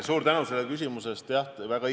Suur tänu selle küsimuse eest!